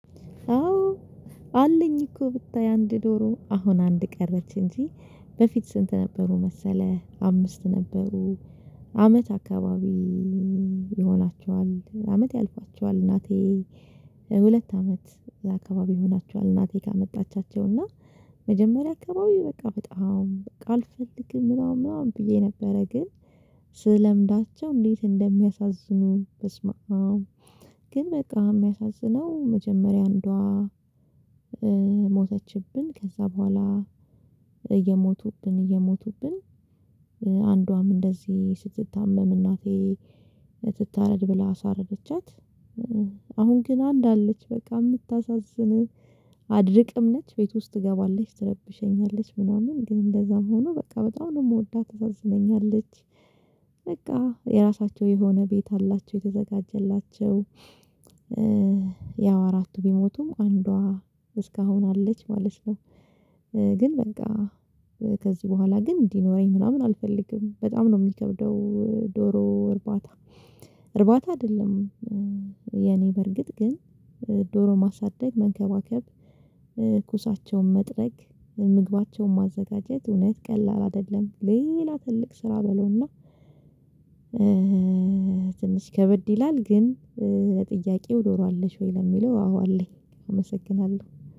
አዎ አለኝ እኮ ብታይ አንድ ዶሮ አሁን አንድ ቀረች እንጂ በፊት ስንት ነበሩ መሰለህ አምስት ነበሩ። አመት አካባቢ ይሆናቸዋል አመት ያልፋቸዋል እናቴ። ሁለት አመት አካባቢ ይሆናቸዋል እናቴ ካመጣቻቸው እና መጀመሪያ አከባቢ በቃ በጣም በቃ አልፈልግም ምናምን ምናምን ብዬ ነበረ። ግን ስለምዳቸው እንዴት እንደሚያሳዝኑ በስመአብ። ግን በቃ የሚያሳዝነው መጀመሪያ አንዷ ሞተችብን ከዛ በኋላ እየሞቱብን እየሞቱብን አንዷ እንደዚህ ስትታመም እናቴ ትታረድ ብላ አሳረደቻት። ግን አንድ አለች በቃ የምታሳዝን አድርቅም ነች ቤት ውስጥ ትገባለች ትረብሸኛለች ምናምን ግን እንደዛም ሆኖ በቃ በጣም ነው የምወዳት ታሳዝነኛለች። በቃ የራሳቸው የሆነ ቤት አላቸው የተዘጋጀላቸው ያው አራቱ ቢሞቱም አንዷ እስካሁን አለች ማለት ነው። ግን በቃ ከዚህ በኋላ ግን እንዲኖረኝ ምናምን አልፈልግም በጣም ነው የሚከብደው። ዶሮ እርባታ እርባታ አይደለም። የኔ በርግጥ ግን ዶሮ ማሳደግ መንከባከብ ኩሳቸውን መጥረግ ምግባቸውን ማዘጋጀት እውነት ቀላል አይደለም። ሌላ ትልቅ ስራ በለው እና ከበድ ይላል። ግን ለጥያቄው ዶሮ አለሽ ወይ? ለሚለው አዎ አለኝ። አመሰግናለሁ